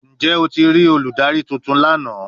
Njẹ o ti rii oludari tuntun lana?